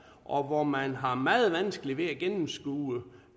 og hvor man har meget vanskeligt ved at gennemskue